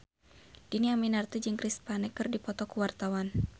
Dhini Aminarti jeung Chris Pane keur dipoto ku wartawan